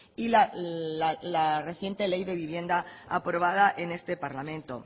y la reciente ley de vivienda aprobada en este parlamento